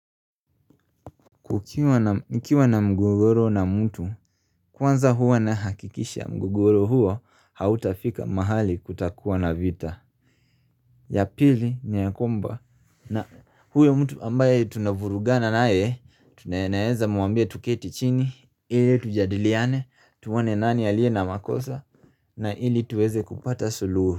Kukiwa na nkiwa na mgogoro na mtu, kwanza huwa na hakikisha mgogoro huo, hauta fika mahali kutakuwa na vita. Ya pili, ni yakomba, na huyo mtu ambaye tunavurugana naye, tu naeza muambia tuketi chini, ili tujadiliane, tuone nani aliye na makosa, na ili tuweze kupata suluhu.